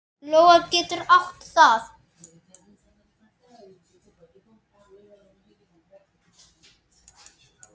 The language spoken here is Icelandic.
Lóa getur átt við